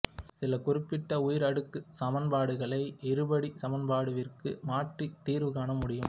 சில குறிப்பிட்ட உயர் அடுக்குச் சமன்பாடுகளை இருபடிச் சமன்பாட்டு வடிவிற்கு மாற்றித் தீர்வு காண முடியும்